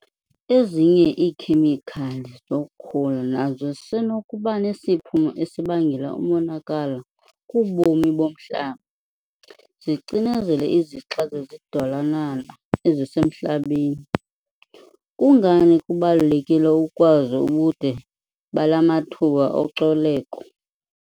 Ezinye iikhemikhali zokhula nazo zisenokuba nesiphumo esibangela umonakalo kubomi bomhlaba, zicinezele izixa zezidalwanana ezisemhlabeni. Kungani kubalulekile ukwazi ubude bala mathuba ocoleko?